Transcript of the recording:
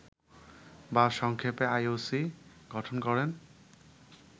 বা সংক্ষেপে আইওসি গঠন করেন